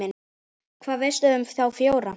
Hvað veistu um þá fjóra?